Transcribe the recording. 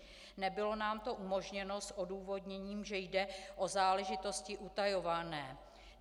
Nebylo nám to umožněno s odůvodněním, že jde o záležitosti utajované.